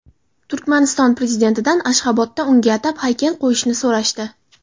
Turkmaniston prezidentidan Ashxobodda unga atab haykal qo‘yishni so‘rashdi.